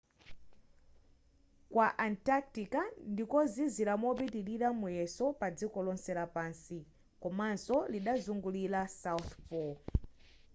kwa antarctica ndikozizira mopitilira muyezo pa dziko lonse lapansi komanso lidazungulira south pole